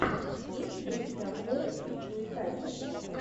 есть ли у тебя форест уитакер